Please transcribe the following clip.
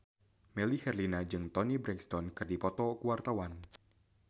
Melly Herlina jeung Toni Brexton keur dipoto ku wartawan